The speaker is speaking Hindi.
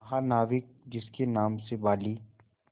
महानाविक जिसके नाम से बाली